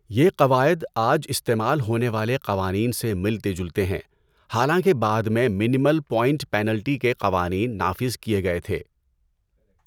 یہ قواعد آج استعمال ہونے والے قوانین سے ملتے جلتے ہیں، حالانکہ بعد میں منمل پوائنٹ پینلٹی کے قوانین نافذ کیے گئے تھے۔